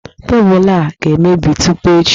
Teepụ a ga-emebi tupu echi